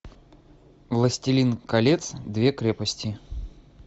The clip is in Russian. властелин колец две крепости